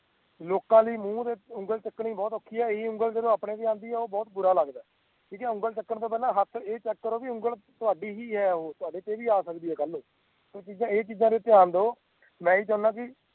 ਲੋਕਾਂ ਲਈ ਮੂੰਹ ਉਗਲੀ ਚੁੱਕਣੀ ਬਹੁਤ ਔਖੀ ਹੈ ਇਹੀ ਉਂਗਲ ਜਦੋ ਆਪਣੇ ਤੇ ਆਦਿ ਹੈ ਤਾ ਬਹੁਤ ਬੁਰਾ ਲੱਗਦਾ ਹੈ ਠੀਕ ਹੈ ਉਂਗਲ ਚੁੱਕਣ ਤੋਂ ਪਹਿਲਾ ਹੱਥ ਏ ਚੈੱਕ ਕਰੋ ਕਿ ਉਂਗਲ ਤਹਾਡੀ ਹੀ ਹੈ ਓ ਤੁਹਾਡੇ ਤੇ ਵੀ ਆ ਸਕਦੀ ਹੈ ਕੱਲ ਨੂੰ ਪਰ ਇਹ ਚੀਜਾਂ ਤੇ ਧਿਆਨ ਦੋ ਮੈਂ ਇਹੀ ਚਾਹੀਦਾ ਕਿ